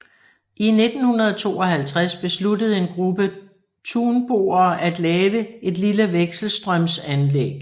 I 1952 besluttede en gruppe tunboere at lave et lille vekselstrømsanlæg